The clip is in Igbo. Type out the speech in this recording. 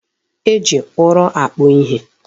E ji ụrọ akpụ ihe.